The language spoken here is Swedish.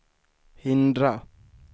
hindra